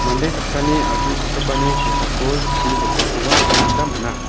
mande saksani asongchakgipani kosako chi jokakoba nikna gita man·a.